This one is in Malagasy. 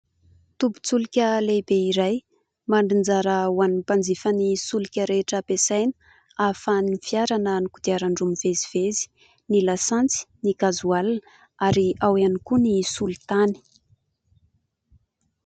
Tobin-tsolika lehibe iray mandrinjara ho an'ny mpanjifa ny solika rehetra ampiasaina ahafahan'ny fiara na ny kodiaran-droa mifamezivezy ny lasantsy, ny ''gasoil'' ary ao ihany koa ny solintany.